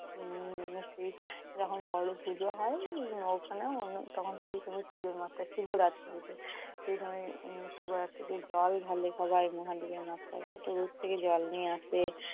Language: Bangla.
উম যখন বড় পুজো হয় উম ওখানে তখন পুজোর শিবরাত্রিতে। সেই সময় শিবরাত্রিতে জল ঢালে সবাই মহাদেবের মাথায়। কতদূর থেকে জল নিয়ে আসে।